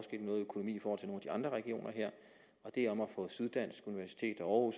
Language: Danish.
de andre regioner her og det er om at få syddansk universitet og